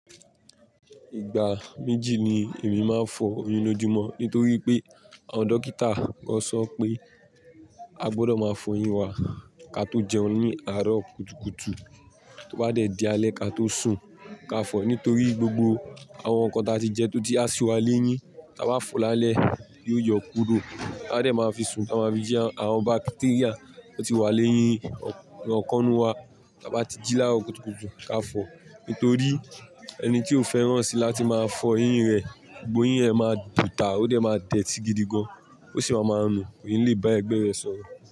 Ìgbà méjì ni èmi máa ń fọ eyín lójúmọ́ nítorí pé àwọn dókítà wọn sọ pé a gbọ́dọ̀ máa fọ eyín wa ká tó jẹun ní àárọ̀ kùtùkùtù tó bá dẹ̀ di alẹ́ ká tó sùn ká fọ nítorí gbogbo àwọn nǹkan tí a ti jẹ tó ti asù wa léyín tí a bá fọ lálẹ́ yóò yọ kúrò bá dẹ̀ máa fi sùn a máa fi jẹun àwọn bacteria tó ti wà lẹ́yìn ọ̀kàn-ún wa tí a bá ti jí lára kùtùkùtù ká fọ nítorí ẹni tí ó fẹ́ràn sí láti máa fọ eyín rẹ̀ gbogbo eyín ẹ máa bùtà ó dẹ̀ máa dẹ́tí gidi gan an ó sì máa ma rùn kò lè bá ẹgbẹ́ rẹ̀ sọ̀rọ̀